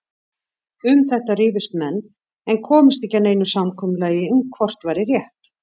Um þetta rifust menn en komust ekki að neinu samkomulagi um hvort væri rétt.